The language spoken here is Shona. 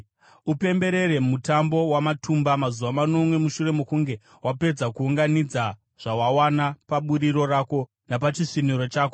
Upemberere Mutambo waMatumba mazuva manomwe mushure mokunge wapedza kuunganidza zvawawana paburiro rako napachisviniro chako.